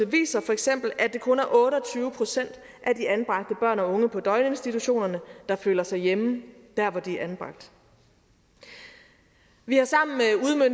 viser feks at det kun er otte og tyve procent af de anbragte børn og unge på døgninstitutionerne der føler sig hjemme der hvor de er anbragt vi har sammen